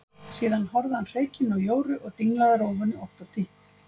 Síðan horfði hann hreykinn á Jóru og dinglaði rófunni ótt og títt.